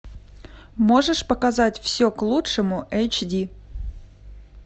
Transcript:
можешь показать все к лучшему эйч ди